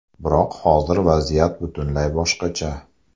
Biroq hozir vaziyat butunlay boshqacha.